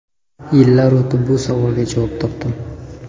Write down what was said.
Yillar o‘tib bu savolga javob topdim.